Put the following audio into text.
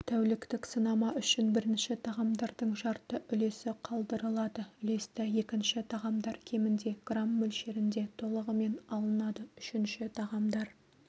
тәуліктік сынама үшін бірінші тағамдардың жарты үлесі қалдырылады үлесті екінші тағамдар кемінде грамм мөлшерінде толығымен алынады үшінші тағамдар